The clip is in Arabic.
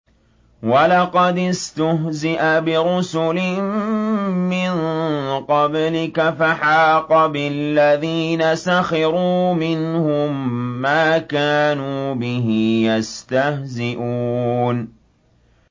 وَلَقَدِ اسْتُهْزِئَ بِرُسُلٍ مِّن قَبْلِكَ فَحَاقَ بِالَّذِينَ سَخِرُوا مِنْهُم مَّا كَانُوا بِهِ يَسْتَهْزِئُونَ